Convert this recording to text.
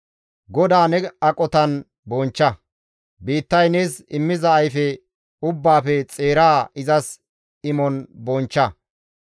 GODAA ne aqotan bonchcha; biittay nees immiza ayfe ubbaafe xeeraa izas imon bonchcha.